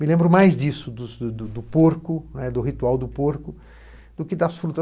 Me lembro mais disso, dos do do porco né, ritual do porco, do que das frutas.